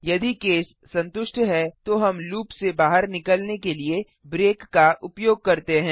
यदि केस संतुष्ट है तो हम लूप से बाहर निकलने के लिए ब्रेक का उपयोग करते हैं